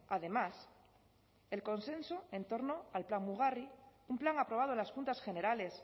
además el consenso en torno al plan mugarri un plan aprobado en las juntas generales